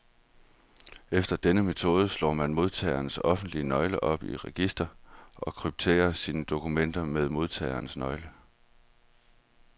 Efter denne metode slår man modtagerens offentlige nøgle op i registret, og krypterer sine dokumenter med modtagerens nøgle.